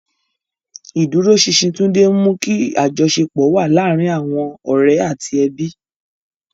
Ìdúróṣinṣin Tunde ń mú kí àjọṣepọ̀ wà láàárín àwọn ọ̀rẹ́ àti ẹbí.